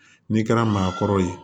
N'i kɛra maakɔrɔ ye